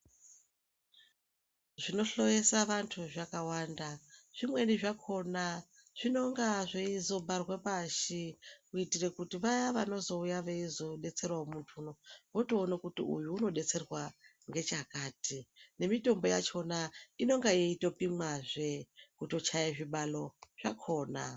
Zvinohloyesa vantu zvakawanda zvimweni zvakhona zvinenge zveizogarwa pashi kuitira kuti vaya vanozouya veibesterwa vatoona kuti uyu ari kudetserwa nechakati nemitombo yachona inenge yeitopimwazve kutochaya zvibalo zvakhona.